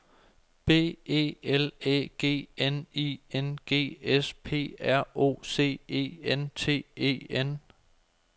B E L Æ G N I N G S P R O C E N T E N